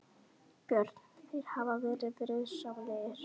Björn: Þeir hafa verið friðsamlegir?